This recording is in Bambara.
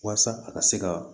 Walasa a ka se ka